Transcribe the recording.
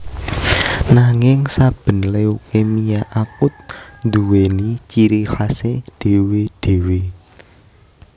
Nanging saben leukemia akut nduwèni ciri khasé dhéwé dhéwé